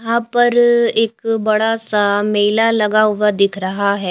यहां पर एक बड़ा सा मेला लगा हुआ दिख रहा है।